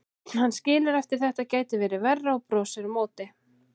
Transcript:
Hann skilur að þetta gæti verið verra og brosir á móti.